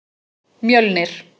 Mjölnir